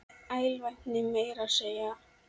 Með alvæpni meira að segja!